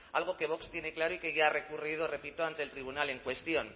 algo que vox tiene claro y que ya ha recurrido repito ante el tribunal en cuestión